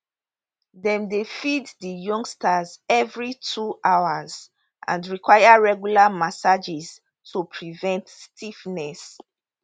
dem dey feed di youngsters evri two hours and require regular massages to prevent stiffness